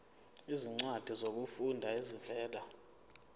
izincwadi zokufunda ezivela